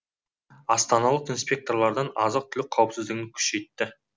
астаналық инспекторлар азық түлік қауіпсіздігін күшейтті